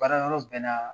Baara yɔrɔ bɛɛ naa